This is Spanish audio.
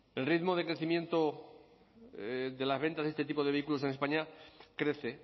el ritmo de crecimiento de las ventas de este tipo de vehículos en españa crece